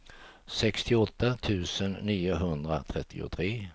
sextioåtta tusen niohundratrettiotre